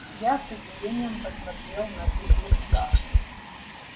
я с удивлением посмотрел на бедренца